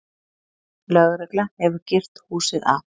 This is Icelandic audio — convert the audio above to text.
Lögregla hefur girt húsið af.